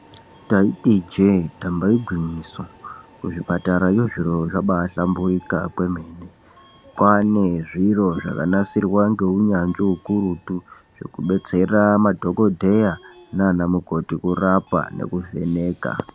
Taiti ijee damba igwinyiso, kuzvipatarayo zviro zvabaahlamburika kwemene. Kwaane zviro zvakanasirwa ngeunyanzvi ukurutu, zvekubetsera madhokodheya nanamukoti kurapa nekuvheneka.